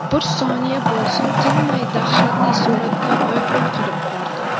bir soniya bo‘lsin tinmay dahshatli suratda vayron qilib bordi.